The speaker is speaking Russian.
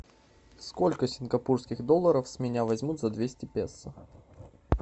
сколько сингапурских долларов с меня возьмут за двести песо